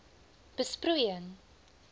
besproeiing